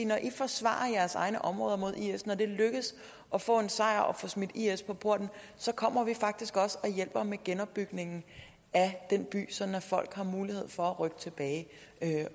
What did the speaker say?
når i forsvarer jeres egne områder mod is når det lykkedes at få en sejr og få smidt i is på porten så kommer vi faktisk også og hjælper med genopbygningen af den by sådan at folk har mulighed for at rykke tilbage